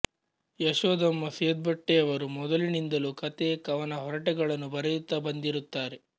ಯಶೋದಮ್ಮ ಸೆದ್ಬಟ್ಟೆಯವರು ಮೊದಲಿನಿಂದಲೂ ಕಥೆ ಕವನ ಹರಟೆಗಳನ್ನು ಬರೆಯುತ್ತಾ ಬಂದಿರುತ್ತಾರೆ